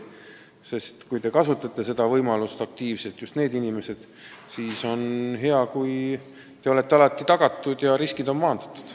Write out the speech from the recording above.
Just nende inimeste kaitse, kes kasutavad aktiivselt elektroonilise tuvastamise võimalusi, peaks olema paremini tagatud ja riskid maandatud.